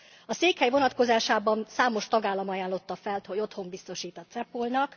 A székhely vonatkozásában számos tagállam ajánlotta fel, hogy otthont biztosít a CEPOL nak.